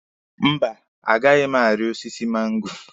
Mba, a gaghị m ari osiso mango.